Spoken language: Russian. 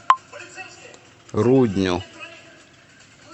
рудню